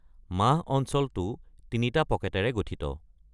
মাহ অঞ্চলটো তিনিটা পকেটেৰে গঠিত।